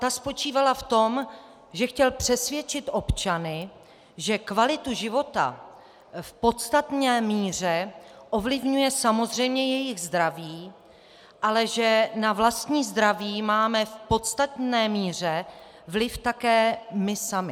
Ta spočívala v tom, že chtěl přesvědčit občany, že kvalitu života v podstatné míře ovlivňuje samozřejmě jejich zdraví, ale že na vlastní zdraví máme v podstatné míře vliv také my sami.